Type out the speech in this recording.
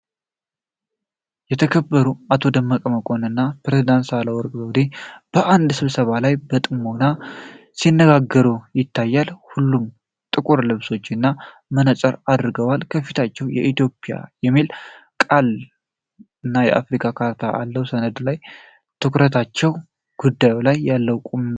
የተከበሩት አቶ ደመቀ መኮንን እና ፕሬዝዳንት ሳህለወርቅ ዘውዴ በአንድ ስብሰባ ላይ በጥሞና ሲነጋገሩ ይታያሉ። ሁለቱም ጥቁር ልብሶችንና መነጽር አድርገዋል፤ ከፊታቸውም "ኢትዮጵያ" የሚል ቃልና የአፍሪካ ካርታ ያለው ሰነድ አለ። ትኩረታቸው ጉዳዩ ላይ ያለውን ቁም ነገር ያሳያል።